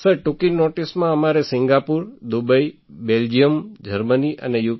sir ટૂંકી નૉટિસમાં અમારે સિંગાપુર દુબઈ બેલ્જિયમ જર્મની અને યુ